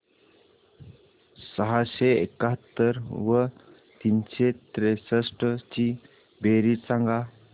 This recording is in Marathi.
सहाशे एकाहत्तर व तीनशे त्रेसष्ट ची बेरीज सांगा